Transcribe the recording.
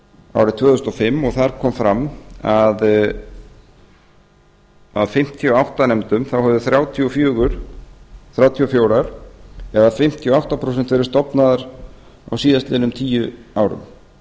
árið tvö þúsund og fimm og þar kom fram að af fimmtíu og átta nefndum hefðu þrjátíu og fjögur eða fimmtíu og átta prósent verið stofnaðar á síðastliðnum tíu árum